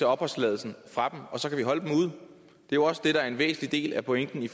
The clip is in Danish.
opholdstilladelsen fra og så kan vi holde dem ude det er også det der er en væsentlig del af pointen i